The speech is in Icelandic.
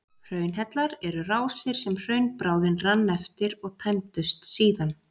Hraunhellar eru rásir sem hraunbráðin rann eftir og tæmdust síðan.